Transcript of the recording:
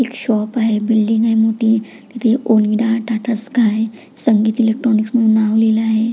एक शॉप आहे बिल्डिंग आहे मोठी तिथे ओनिडा टाटा स्काय संगीता इलेक्ट्रॉनिक्स म्हणून नाव लिहलं आहे.